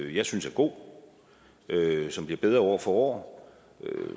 jeg synes er god som bliver bedre år for år